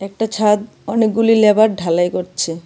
একটা ছাদ অনেকগুলি লেবার ঢালাই করছে.